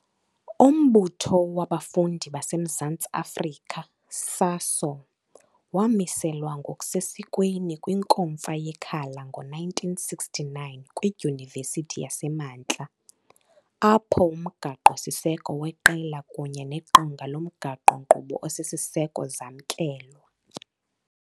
Umbutho wabafundi baseMzantsi Afrika SASO wamiselwa ngokusesikweni kwinkomfa yeKhala ngo-1969 kwiDyunivesithi yaseMantla, Apho, umgaqo-siseko weqela kunye neqonga lomgaqo-nkqubo osisiseko zamkelwa.